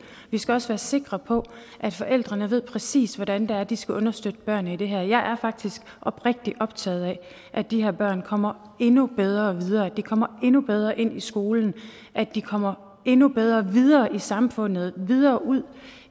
vi skal også være sikre på at forældrene ved præcis hvordan det er de skal understøtte børnene i det her jeg er faktisk oprigtigt optaget af at de her børn kommer endnu bedre videre at de kommer endnu bedre ind i skolen at de kommer endnu bedre videre i samfundet og videre ud